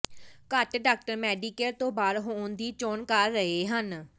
ਘੱਟ doctor Medicare ਤੋਂ ਬਾਹਰ ਹੋਣ ਦੀ ਚੋਣ ਕਰ ਰਹੇ ਹਨ